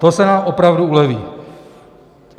To se nám opravdu uleví.